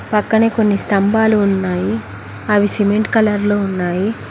పక్కనే కొన్ని స్తంభాలు ఉన్నాయి అవి సిమెంట్ కలర్ లో ఉన్నాయి.